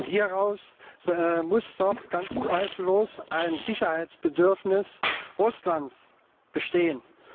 Hieraus muss doch ganz zweifellos ein Sicherheitsbedürfnis Russlands entstehen.